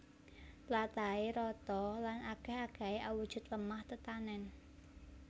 Tlatahé rata lan akèh akèhé awujud lemah tetanèn